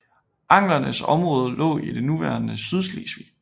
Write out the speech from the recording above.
Anglernes område lå i det nuværende Sydslesvig